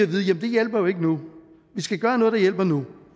det hjælper jo ikke nu vi skal gøre noget der hjælper nu